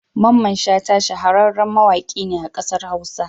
Mamman Shata shahararren mawaƙi ne a kasar Hausa.